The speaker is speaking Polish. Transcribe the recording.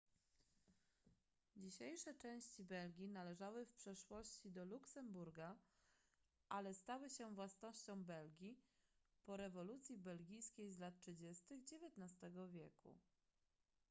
dzisiejsze części belgii należały w przeszłości do luksemburga ale stały się własnością belgii po rewolucji belgijskiej z lat 30 xix wieku